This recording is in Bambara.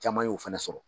Caman y'o fana sɔrɔ